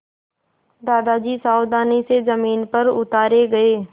दादाजी सावधानी से ज़मीन पर उतारे गए